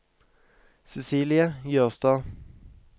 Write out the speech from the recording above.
Cecilie Jørstad